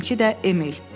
Mənimki də Emil.